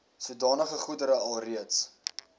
sodanige goedere alreeds